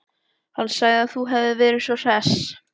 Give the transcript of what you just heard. Hann sagði að þú hefðir verið svo hress.